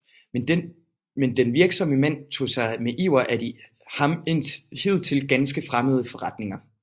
Men den virksomme mand tog sig med iver af de ham hidtil ganske fremmede forretninger